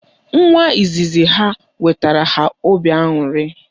Nwa izizi ha wetara ha obi aṅụrị